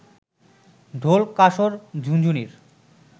ঢোল, কাসর, ঝুনঝুনির